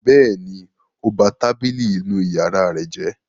Bẹ́ẹ̀ni, ó ba tábìlì inú ìyàrá rẹ̀ jẹ́.